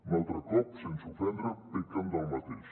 un altre cop sense ofendre pequen del mateix